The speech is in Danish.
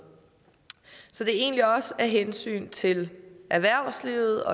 så det er egentlig også af hensyn til erhvervslivet